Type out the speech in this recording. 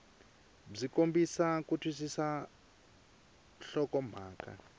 byi kombisa ku twisisa nhlokomhaka